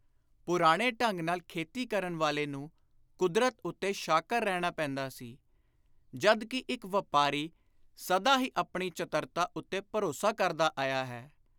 ਪੁਰਾਣੇ ਢੰਗ ਨਾਲ ਖੇਤੀ ਕਰਨ ਵਾਲੇ ਨੂੰ ਕੁਦਰਤ ਉੱਤੇ ਸ਼ਾਕਰ ਰਹਿਣਾ ਪੈਂਦਾ ਸੀ, ਜਦ ਕਿ ਇਕ ਵਾਪਾਰੀ ਸਦਾ ਹੀ ਆਪਣੀ ਚਤਰਤਾ ਉੱਤੇ ਭਰੋਸਾ ਕਰਦਾ ਆਇਆ ਹੈ।